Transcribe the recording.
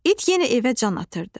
İt yenə evə can atırdı.